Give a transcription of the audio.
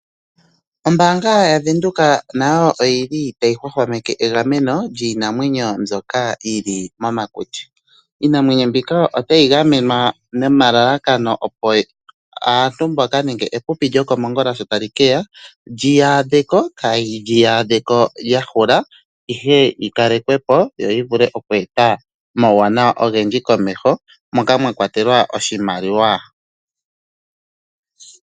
Ombaanga yavenduka nayo oyili tayi hwahwameke egameno lyiinamwenyo mbyoka yili momakuti. Iinamwenyo mbika otayi gamenwa nomalalakano opo aantu mbaka nenge epipi lyokomongula sho tali keya liyi adheko, kaliyi adheko lya hula ihe yi kalekwepo yo yi vule okweeta omawuwanawa ogendji komeho moka mwa kwatelwa oshimaliwa.